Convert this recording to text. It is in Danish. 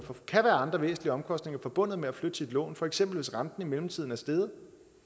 kan være andre væsentlige omkostninger forbundet med at flytte sit lån for eksempel hvis renten i mellemtiden er steget